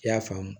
I y'a faamu